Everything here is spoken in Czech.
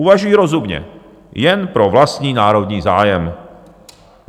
Uvažují rozumně jen pro vlastní národní zájem.